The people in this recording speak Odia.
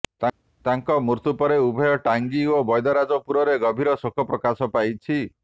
ତାଙ୍କ ମୃତ୍ୟୁ ପରେ ଉଭୟ ଟାଙ୍ଗି ଓ ବ୘ଦ୍ୟରାଜପୁରରେ ଗଭୀର ଶୋକ ପ୍ରକାଶ ପାଇଛି